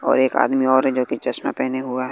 और एक आदमी और है जो कि चश्मा पहने हुआ है।